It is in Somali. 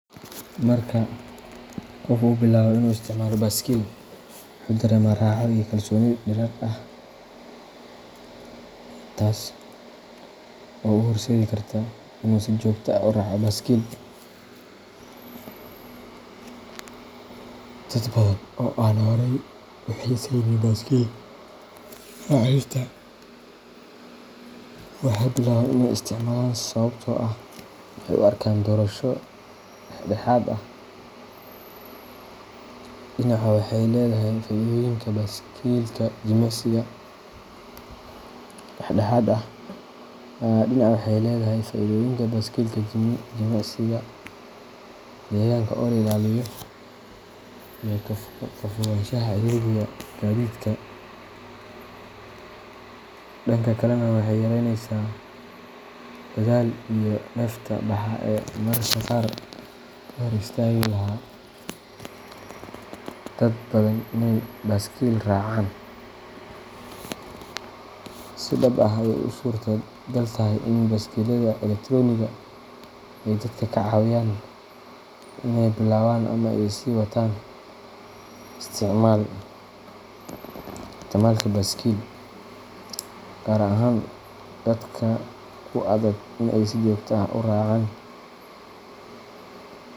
Marka qofku uu bilaabo inuu isticmaalo baaskiil, wuxuu dareemaa raaxo iyo kalsooni dheeraad ah, taas oo u horseedi karta inuu si joogto ah u raaco baaskiil. Dad badan oo aan horay u xiisaynin baaskiil raacista waxay bilaabaan in ay isticmaalaan sababtoo ah waxay u arkaan doorasho dhexdhexaad ah: dhinac waxay leedahay faa’iidooyinka baaskiilka jimicsiga, deegaanka oo la ilaaliyo iyo ka fogaanshaha ciriiriga gaadiidka, dhanka kalena waxay yaraynaysaa dadaalka iyo neefta baxa ee mararka qaar ka hor istaagi lahaa dad badan inay baaskiil raacaan. Si dhab ah ayey u suuragal tahay in baaskiillada elektaroonigga ah ay dadka ka caawiyaan inay bilaabaan ama sii wataan isticmaalka baaskiil, gaar ahaan dadka ku adag in ay si joogto ah u raacaan.